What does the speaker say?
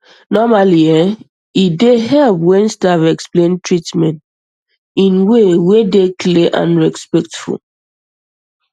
normally e dey help when staff explain treatment erm in way wey dey clear and respectful